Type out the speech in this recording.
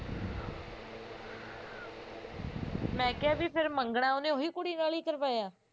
ਮੈਂ ਕਿਹਾ ਵੀ ਫਿਰ ਮਗੰਨਾ ਉਹਨੇ ਉਹੀ ਕੁੜੀ ਨਾਲ ਹੀ ਕਰਵਾਇਆ